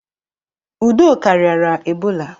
Udoka riara Ebola